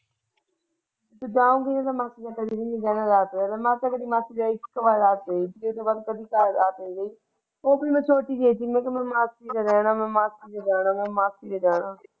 ਜੇ ਜਾਉਗੀ ਮਾਸੀ ਦੇ ਰਾਤ ਰਹਿਣਾ ਮੈਂ ਤੇ ਕਦੇ ਮਾਸੀ ਦੇ ਇੱਕ ਵਾਰੀ ਰਾਤ ਰਹੀ ਉਸ ਤੋਂ ਬਾਅਦ ਮੈਂ ਕਦੇ ਰਾਤ ਨਹੀਂ ਰਹੀ ਉਹ ਵੀ ਮੈਂ ਛੁੱਟੀ ਜਿਹੀ ਸੀ ਮੈਂ ਕਹਿਆ ਮੈਂ ਮਾਸੀ ਦੇ ਰਹਿਣ ਮੈਂ ਮਾਸੀ ਦੇ ਜਾਣਾ।